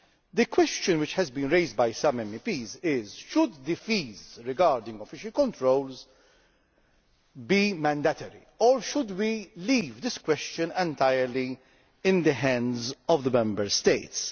The question which has been raised by some MEPs is should fees linked to official controls be mandatory or should we leave this question entirely in the hands of the Member States?